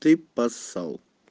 ты поссал